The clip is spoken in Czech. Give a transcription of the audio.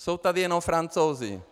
Jsou tady jenom Francouzi.